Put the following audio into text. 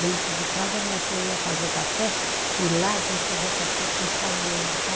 Dentro de casa, minha tia ia fazer café e lá a gente fazia café com chaleira, sabe?